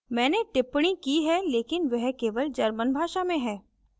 मैंने टिप्पणी की है लेकिन वह केवल german भाषा में है